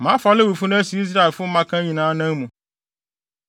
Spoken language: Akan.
Mafa Lewifo no asi Israelfo mmakan nyinaa anan mu.